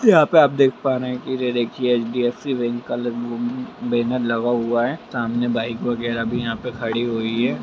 यहाँ पर आप देख पा रहे है की एचडीएफसी बैंक का बैनर लगा हुआ है सामने बाइक वगेरह भी यहां पे खड़ी हुई है।